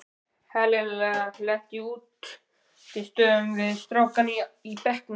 Helena lenti í útistöðum við strákana í bekknum.